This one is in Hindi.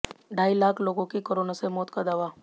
ढाई लाख लोगों की कोरोना से मौत का दावा